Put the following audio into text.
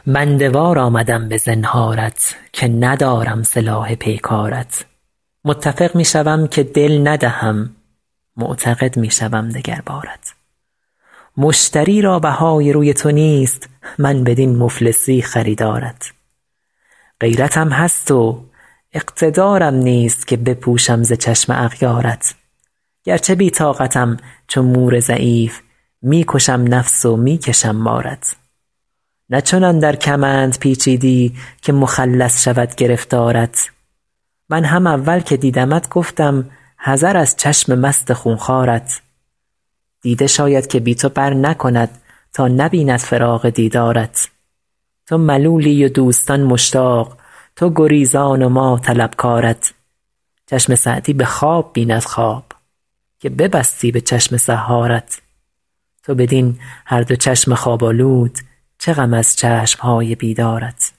بنده وار آمدم به زنهارت که ندارم سلاح پیکارت متفق می شوم که دل ندهم معتقد می شوم دگر بارت مشتری را بهای روی تو نیست من بدین مفلسی خریدارت غیرتم هست و اقتدارم نیست که بپوشم ز چشم اغیارت گرچه بی طاقتم چو مور ضعیف می کشم نفس و می کشم بارت نه چنان در کمند پیچیدی که مخلص شود گرفتارت من هم اول که دیدمت گفتم حذر از چشم مست خون خوارت دیده شاید که بی تو برنکند تا نبیند فراق دیدارت تو ملولی و دوستان مشتاق تو گریزان و ما طلبکارت چشم سعدی به خواب بیند خواب که ببستی به چشم سحارت تو بدین هر دو چشم خواب آلود چه غم از چشم های بیدارت